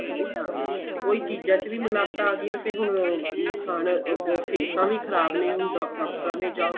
ਚੀਜਾਂ ਦਾ ਵੀ ਨੁਕਸ਼ਾਨ ਏ ਉਹੀ ਚੀਜਾਂ ਚ ਵੀ ਮਿਲਾਵਟਾਂ ਆਂ ਗਈਆਂ ਤੇ ਹੁਣ ਨੁਕਸ਼ਾਨ ਅਹ ਸਿਹਤਾ ਵੀ ਖ਼ਰਾਬ ਨੇ ਹੁਣ ਡਾਕਟਰਾਂ ਤੇ ਜਾਓ